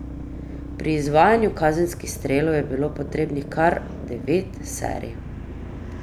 Pri izvajanju kazenskih strelov je bilo potrebnih kar devet serij.